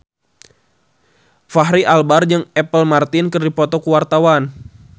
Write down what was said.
Fachri Albar jeung Apple Martin keur dipoto ku wartawan